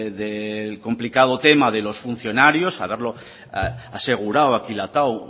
del complicado tema de los funcionarios aseguraba